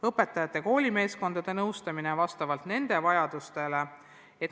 Õpetajate koolimeeskondade nõustamine toimub vastavalt nende vajadustele.